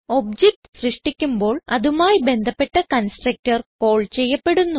object സൃഷ്ടിക്കുമ്പോൾ അതുമായി ബന്ധപ്പെട്ട കൺസ്ട്രക്ടർ കാൾ ചെയ്യപ്പെടുന്നു